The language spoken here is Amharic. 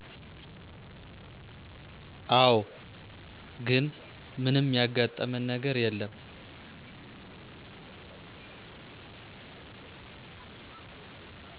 አወ ግን ምንም ያጋጠመን ነገር የለም